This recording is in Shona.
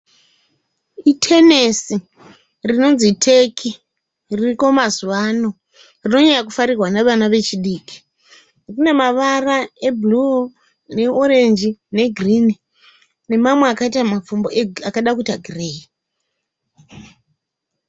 Itenisi rinonzi teki ririko mazuva ano rinonyanya kufarirwa nevana vechidiki. Rine mavara ebhuruu , neorenji negirini nemamwe akaita mapfumbu akada kuita gireyi.